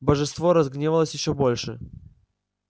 божество разгневалось ещё больше